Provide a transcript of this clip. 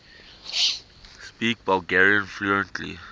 speak bulgarian fluently